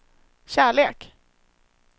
kärlek